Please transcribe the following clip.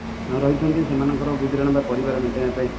ସେମାନଙ୍କର ଗୁଜୁରାଣ ବା ପରିବାର ମେଣ୍ଟେଇବା ପାଇଁ